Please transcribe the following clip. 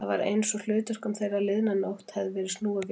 Það var einsog hlutverkum þeirra liðna nótt hefði verið snúið við.